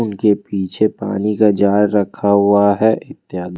उनके पीछे पानी का जार रखा हुआ है।